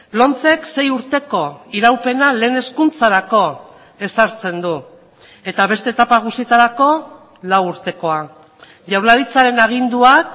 lomcek sei urteko iraupena lehen hezkuntzarako ezartzen du eta beste etapa guztietarako lau urtekoa jaurlaritzaren aginduak